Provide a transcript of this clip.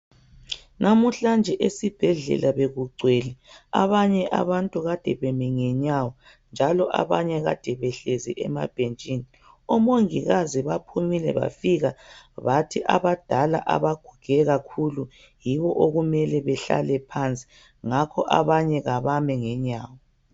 Namuhlanje esibhedlela bekugcwele abanye abantu kade bemi ngenyawo njalo abanye kade behlezi emabhetshini omongikazi baphumile bafika bathi abadala abaguge kakhulu yibo okumele behlale phansi ngakho abanye kabame ngenyawo.